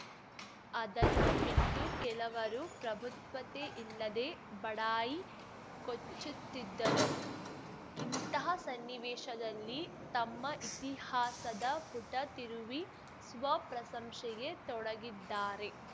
ಅದನ್ನು ಬಿಟ್ಟು ಕೆಲವರು ಪ್ರಬುದ್ಧತೆಯಿಲ್ಲದೇ ಬಡಾಯಿ ಕೊಚ್ಚುತ್ತಿದ್ದರೆ ಇಂಥಹ ಸನ್ನಿವೇಶದಲ್ಲಿ ತಮ್ಮ ಇತಿಹಾಸದ ಪುಟ ತಿರುವಿ ಸ್ವಪ್ರಶಂಸೆಗೆ ತೊಡಗಿದ್ದಾರೆ